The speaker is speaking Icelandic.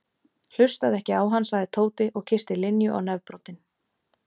Hlustaðu ekki á hann sagði Tóti og kyssti Linju á nefbroddinn.